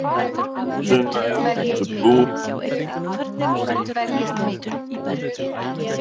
Sunna: Ertu búinn að læra eitthvað hérna af þessu í kvöld?